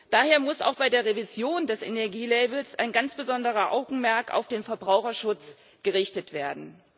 Daher muss auch bei der Revision des Energielabels ein ganz besonderes Augenmerk auf den Verbraucherschutz gerichtet werden.